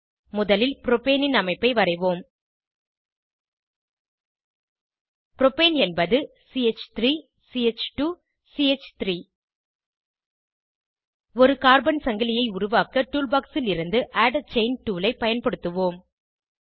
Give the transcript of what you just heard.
முதலில் புரோபேனின் அமைப்பை வரைவோம் புரோபேன் என்பது ch3 ch2 சி3 ஒரு கார்பன் சங்கிலியை உருவாக்க டூல் பாக்ஸ் லிருந்து ஆட் ஆ செயின் டூல் ஐ பயன்படுத்துவோம்